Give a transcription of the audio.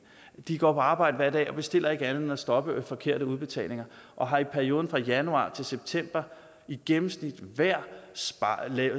de går på arbejde hver dag og bestiller ikke andet end at stoppe forkerte udbetalinger og har i perioden fra januar til september i gennemsnit hver